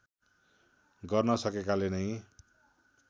गर्न सकेकाले नै